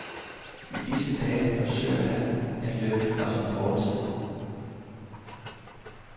I disse dage forsøger han at løbe fra sin fortid.